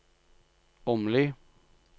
Åmli